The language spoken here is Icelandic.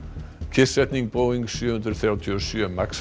kyrrsetning Boeing sjö hundruð þrjátíu og sjö